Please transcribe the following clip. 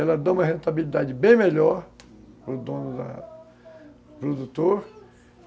Ela dá uma rentabilidade bem melhor para o dono, para da, o produtor.